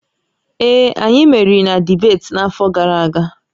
Ee, anyị meriri na dibeeti n'afọ gara aga